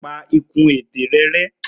Pa ikùn ètè ẹnu rẹ rẹ́.